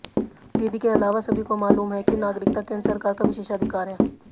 दीदी के अलावा सभी को मालूम है कि नागरिकता केंद्र सरकार का विशेषाधिकार है